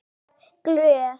Alltaf glöð.